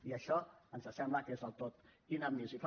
i això ens sembla que és el del tot inadmissible